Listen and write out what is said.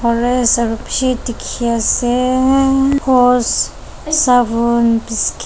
O_R_S aro bishi diki aseeeee biscui.